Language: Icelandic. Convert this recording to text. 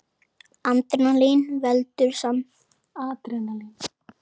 Adrenalín veldur samdrætti í milta, eykur öndunartíðni og víkkar út loftveginn.